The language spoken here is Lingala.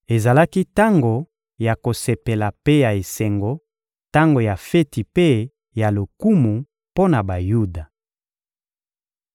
Ezalaki tango ya kosepela mpe ya esengo, tango ya feti mpe ya lokumu mpo na Bayuda.